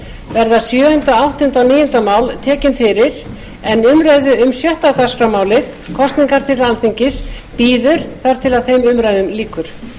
verða sjöunda áttunda og níunda mál tekin fyrir en umræða um sjötta dagskrármálið kosningar til alþingis bíður þar til þeim umræðum lýkur